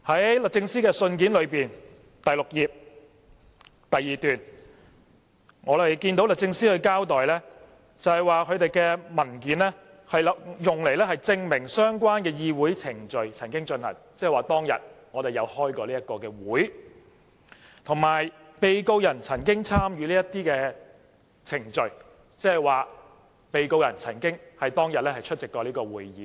在律政司信件的第6頁第二段，我們看到律政司交代文件是用作證明曾進行過相關的議會程序，即當天我們曾召開該次會議；以及被告人曾參與這些程序，即被告人曾在當天出席該次會議。